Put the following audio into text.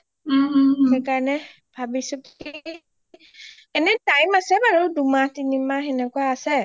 সেইকাৰণে ভাবিছো কি এনে time আছে বাৰু দুহমাহ তিনিমাহ সেনেকুৱা আছে